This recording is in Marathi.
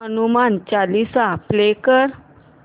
हनुमान चालीसा प्ले कर